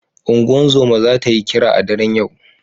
Unguzuma zata yi kira a daren yau